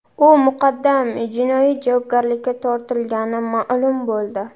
U muqaddam jinoiy javobgarlikka tortilgani ma’lum bo‘ldi.